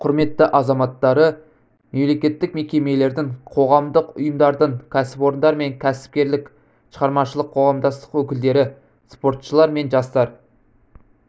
құрметті азаматтары мемлекеттік мекемелердің қоғамдық ұйымдардың кәсіпорындар мен кәсіпкерлік шығармашылық қоғамдастық өкілдері спортшылар мен жастар